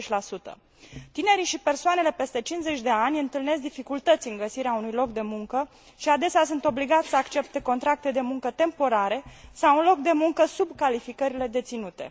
20. Tinerii și persoanele peste 50 de ani întâlnesc dificultăți în găsirea unui loc de muncă și adesea sunt obligați să accepte contracte de muncă temporare sau un loc de muncă sub calificările deținute.